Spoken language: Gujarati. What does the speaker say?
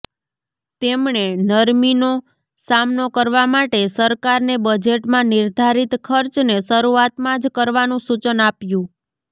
તેમણે નરમીનો સામનો કરવા માટે સરકારને બજેટમાં નિર્ધારિત ખર્ચને શરૂઆતમાં જ કરવાનું સુચન આપ્યું